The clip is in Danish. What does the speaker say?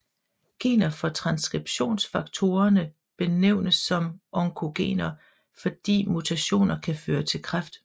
Gener for transskriptionsfaktorerne benævnes som oncogener fordi mutationer kan føre til kræft